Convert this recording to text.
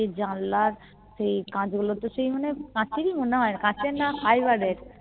সে জানলার সেই কাচ গুলো তো সেই মানে কাচেরই মনে হয় কাঁচের না Fibre এর